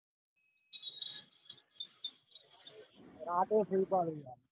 રાતે free પડું